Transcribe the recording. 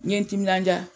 N ye n timinandiya